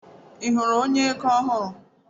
Ị hụrụ onye ego ego ọhụrụ?